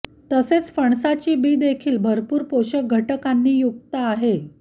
तसेच फणसाची बी देखील भरपूर पोषक घटकांनी युक्त आहे